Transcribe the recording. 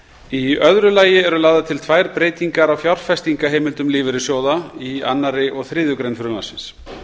í öðru lagi eru lagðar til tvær breytingar á fjárfestingarheimildum lífeyrissjóða í annarri og þriðju grein frumvarpsins